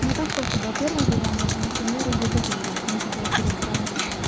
ну так просто было первое задание это например юзе оф инглишь нужно было перед транс